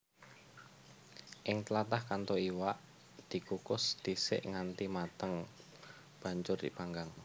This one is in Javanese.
Ing tlatah Kanto iwak dikukus dhisik nganti mateng banjur dipanggang